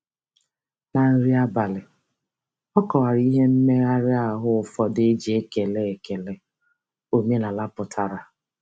Na nri abalị, ọ kọwara ihe mmegharị ahụ ụfọdụ e ji ekele ekele omenala pụtara.